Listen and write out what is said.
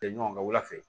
Kɛ ɲɔgɔn ka wulafɛ